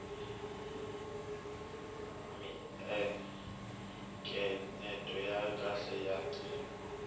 miencenyeto yo karhi ya ncino